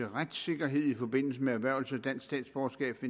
retssikkerhed i forbindelse med erhvervelse af dansk statsborgerskab